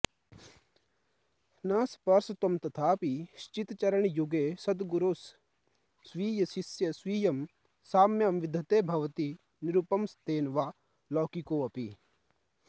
न स्पर्शत्वं तथापि श्रितचरणयुगे सद्गुरोस्स्वीयशिष्ये स्वीयं साम्यं विधत्ते भवति निरुपमस्तेन वा लौकिकोऽपि